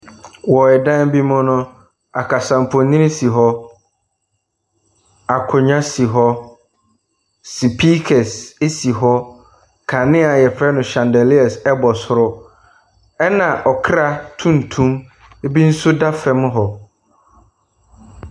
Wɔ danbi mu no, aksamfonyini si hɔ. Akonnwa si hɔ. Sepiikas si hɔ. Kanea a yɛfrɛ no shandaliers bɔ soro. Ɛna ɔkra tuntum bi nso da fam hɔ.